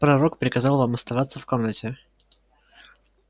пророк приказал вам оставаться в комнате